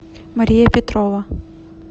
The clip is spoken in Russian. мария петрова